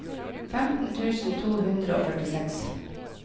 femten tusen to hundre og førtiseks